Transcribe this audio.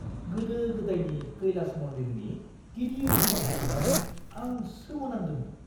गोदो गोदायनि कैलास मन्दिरनि गिदिर महरखौ नुनानै आं सोमोनांदोंमोन।